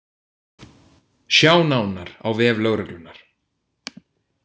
Sjá nánar á vef lögreglunnar